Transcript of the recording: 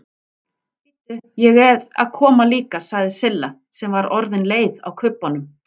Bíddu, ég eð að koma líka sagði Silla sem var orðin leið á kubbunum.